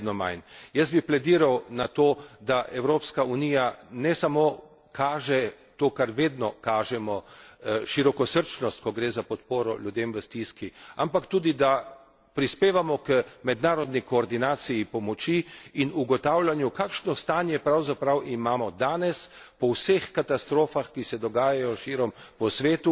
Jaz bi plediral na to, da Evropska unija ne samo kaže to, kar vedno kažemo, širokosrčnost, ko gre za podporo ljudem v stiski, ampak tudi, da prispevamo k mednarodni koordinaciji pomoči in ugotavljanju, kakšno stanje pravzaprav imamo danes po vseh katastrofah, ki se dogajajo širom po svetu, in da